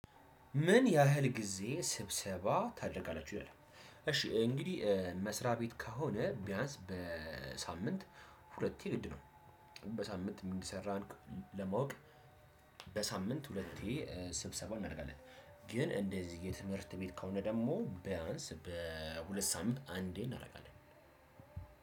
ምን ያህል ጊዜ ስብሰባ ታደርጋላችሁ ይላል። እሽ እንግዲህ መስሪያ ቤት ከሆነ ቢያንስ በሳምንት ሁለቴ ግድ ነው። በሳምንት ምን እንደሰራን ለማወቅ በሳምንት ሁለቴ ስብሰባ እናደርጋለን። ግን እንደዚህ የትምህርት ቤት ከሆነ ደግሞ ቢያንስ በሁለት ሳምንት አንዴ እናደርጋለን።